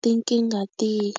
tinkingha tihi.